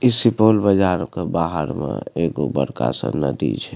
इ सुपौल बाजार के बाहर में एगो बड़का गो नदी छै।